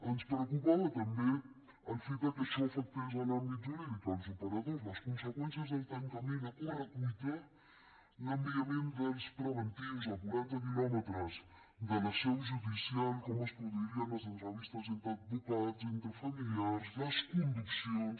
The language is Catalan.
ens preocupava també el fet de que això afectés l’àmbit jurídic els operadors les conseqüències del tancament a correcuita l’enviament dels preventius a quaranta quilòmetres de la seu judicial com es produirien les entrevistes entre advocats entre familiars les conduccions